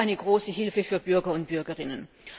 Das ist eine große Hilfe für die Bürger und Bürgerinnen.